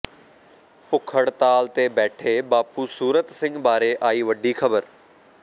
ਭੁੱਖ ਹੜਤਾਲ ਤੇ ਬੈਠੇ ਬਾਪੂ ਸੂਰਤ ਸਿੰਘ ਬਾਰੇ ਆਈ ਵੱਡੀ ਖਬਰ